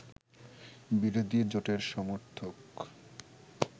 বিরোধী জোটের সমর্থক